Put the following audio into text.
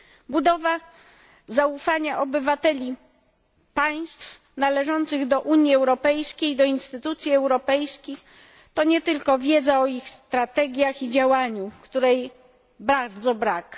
Budowa zaufania obywateli państw należących do Unii Europejskiej do instytucji europejskich to nie tylko wiedza o ich strategiach i działaniu, której bardzo brak.